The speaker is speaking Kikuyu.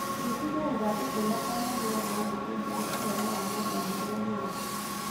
Thuthuria ithandũkũ rĩakwa rĩa marũa na ũnjĩĩre ũhoro wa marũa marĩa mangĩ